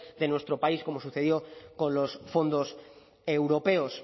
de nuestro país como sucedió con los fondos europeos